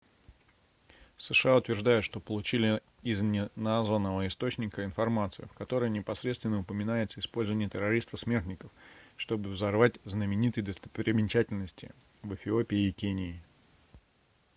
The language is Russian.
сша утверждают что получили из неназванного источника информацию в которой непосредственно упоминается использование террористов-смертников чтобы взорвать знаменитые достопримечательности в эфиопии и кении